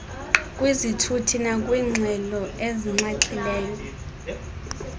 kwizithuthi nakwiingxelo ezinxaxhileyo